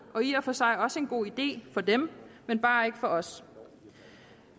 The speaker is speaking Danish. og i og for sig også en god idé for dem men bare ikke for os